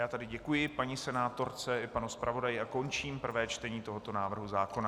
Já tedy děkuji paní senátorce i panu zpravodaji a končím prvé čtení tohoto návrhu zákona.